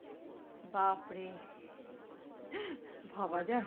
বাপ্ রে ভাবা যায়?